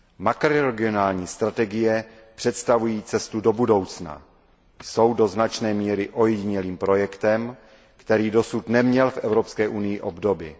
Makroregionální strategie představují cestu do budoucna, jsou do značné míry ojedinělým projektem, který dosud neměl v Evropské unii obdoby.